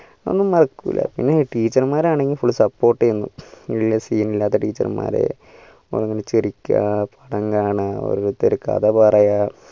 അതൊന്നും മറക്കുല പിന്നെ teacher മാരാണെങ്കിൽ full sapport യന്ന് വെല്യ scene ഇല്ലാത്ത teacher മാർ ഒന്നിച്ച് ചിരിക്ക പടം കാണാ ഓരോരുത്തര് കഥ പറയാ